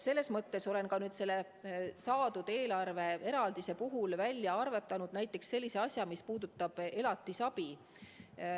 Aga ma olen nüüd selle saadud eelarveeraldise puhul välja arvutanud näiteks sellise asja, mis puudutab elatisabi.